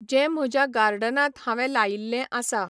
जें म्हज्या गार्डनांत हांवें लायिल्लें आसा.